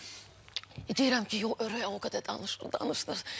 Deyirəm ki, yox, Röya o qədər danışdı, danışdı.